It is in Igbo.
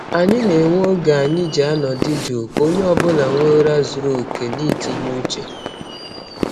Anyị na-enwe oge anyị ji anọdụ juu ka onye ọ bụla nwee ụra zuru oke na itinye uche.